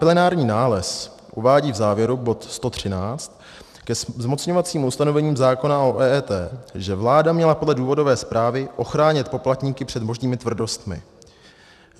Plenární nález uvádí v závěru, bod 113, ke zmocňovacím ustanovením zákona o EET, že vláda měla podle důvodové zprávy ochránit poplatníky před možnými tvrdostmi.